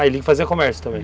Ah, ele fazia comércio também?